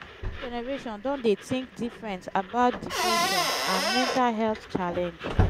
new generation don dey think different about depression and mental health challenge